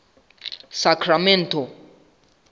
sacramento